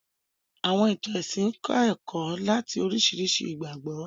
Àwọ̀n ìtàn ẹ̀sìn ń kọ́ ẹ̀kọ́ láti oríṣiríṣi ìgbàgbọ́